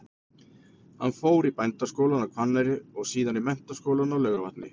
Hann fór í Bændaskólann á Hvanneyri og síðan í Menntaskólann á Laugarvatni.